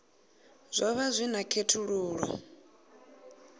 zwo vha zwi na khethululoe